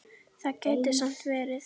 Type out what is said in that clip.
Það gæti samt verið.